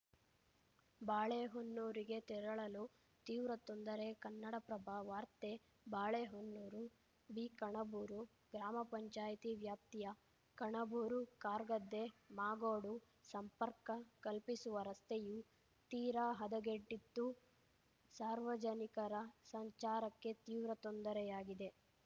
ಬಾಳೆಹೊನ್ನೂರಿಗೆ ತೆರಳಲು ತೀವ್ರ ತೊಂದರೆ ಕನ್ನಡಪ್ರಭ ವಾರ್ತೆ ಬಾಳೆಹೊನ್ನೂರು ಬಿಕಣಬೂರು ಗ್ರಾಮ ಪಂಚಾಯಿತಿ ವ್ಯಾಪ್ತಿಯ ಕಣಬೂರುಕಾರ್‌ಗದ್ದೆಮಾಗೋಡು ಸಂಪರ್ಕ ಕಲ್ಪಿಸುವ ರಸ್ತೆಯು ತೀರಾ ಹದಗೆಟ್ಟಿದ್ದು ಸಾರ್ವಜನಿಕರ ಸಂಚಾರಕ್ಕೆ ತೀವ್ರ ತೊಂದರೆಯಾಗಿದೆ